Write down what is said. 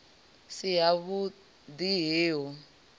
si havhu ḓi he hu